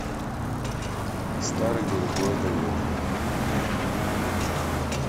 старый голубой огонек